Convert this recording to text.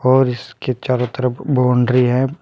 और इसके चारों तरफ बाउंड्री है।